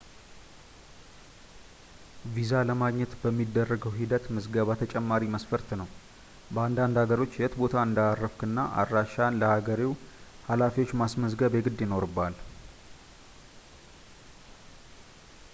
ቪዛ ለማግኘት በሚደረገው ሂደት ምዝገባ ተጨማሪ መስፈርት ነው በአንዳንድ ሀገሮች የት ቦታ እንዳረፍክና አድራሻህን ለሀገሬው ሀላፊዎች ማስመዝገብ የግድ ይኖርብሃል